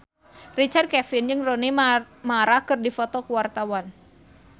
Richard Kevin jeung Rooney Mara keur dipoto ku wartawan